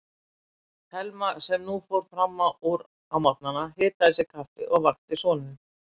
Thelma sem nú fór fram úr á morgnana, hitaði sér kaffi og vakti soninn.